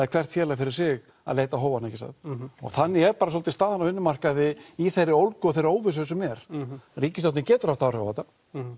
er hvert félag fyrir sig að leita á hófana og þannig er svolítið staðan á vinnumarkaði í þeirri ólgu og þeirri óvissu sem er ríkisstjórnin getur haft áhrif á þetta